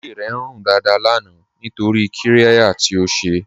Ilé rẹ̀ ń rún dáadáà lánà nítorí qírẹ̀yà tí ó ṣè.